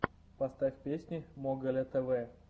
поставь песни моголя тв